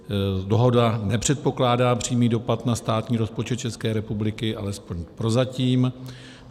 Dohoda nepředpokládá přímý dopad na státní rozpočet České republiky, alespoň prozatím.